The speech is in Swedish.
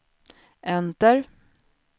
enter